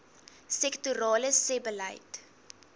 sektorale sebbeleid